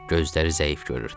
Gözləri zəif görürdü.